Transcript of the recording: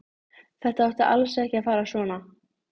Þetta átti alls ekki að fara svona.